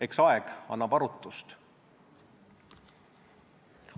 Eks aeg annab arutust.